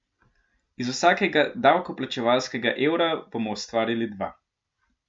Iz vsakega davkoplačevalskega evra bomo ustvarili dva.